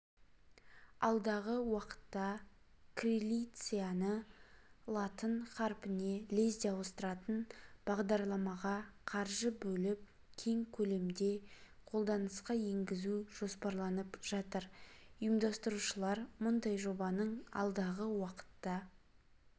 алдағы уақытта крилицианы латын қаріпіне лезде ауыстыратын бағдарламаға қаржы бөліп кең көлемде қолданысқа енгізу жоспарланып жатыр ұйымдастырушылар мұндай жобаның алдағы уақытта